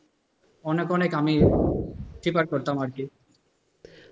অনেক অনেক আমি favour করতাম আরকি।